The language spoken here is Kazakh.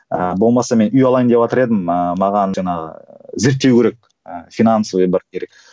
ыыы болмаса мен үй алайын деватыр едім ыыы маған жаңағы зерттеу керек ы финансовый бару керек